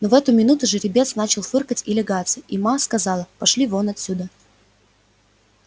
но в эту минуту жеребец начал фыркать и лягаться и ма сказала пошли вон отсюда